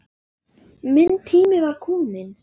Minn tími var kominn.